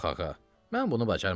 Yox ağa, mən bunu bacarmaram.